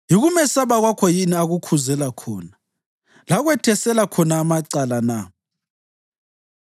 Yikumesaba kwakho yini akukhuzela khona lakwethesela khona amacala na?